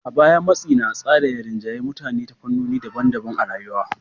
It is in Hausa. A baya, matsi na tsara ya rinjayi mutane a fannoni daban-daban na rayuwa.